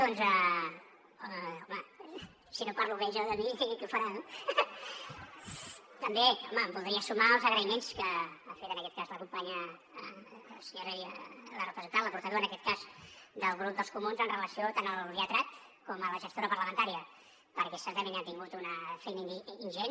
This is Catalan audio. home si no parlo bé jo de mi qui ho farà no també home em voldria sumar als agraïments que ha fet en aquest cas la companya la representant la portaveu en aquest cas del grup dels comuns amb relació tant al lletrat com a la gestora parlamentària perquè certament han tingut una feina ingent